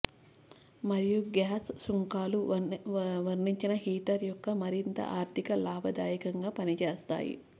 మరియు గ్యాస్ సుంకాలు వర్ణించిన హీటర్ యొక్క మరింత ఆర్ధిక లాభదాయకంగా పనిచేస్తాయి